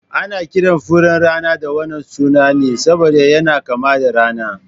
Ana kiran furen rana da wannan suna ne saboda yana kama da rana